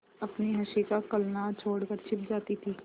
अपनी हँसी का कलनाद छोड़कर छिप जाती थीं